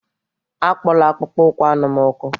Akpola akpụkpọ ụkwụ anụ m ọkụ!